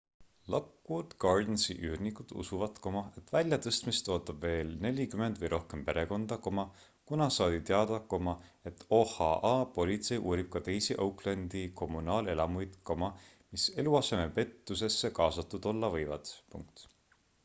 lockwood gardensi üürnikud usuvad et väljatõstmist ootab veel 40 või rohkem perekonda kuna saadi teada et oha politsei uurib ka teisi oaklandi kommunaalelamuid mis eluasemepettusesse kaasatud olla võivad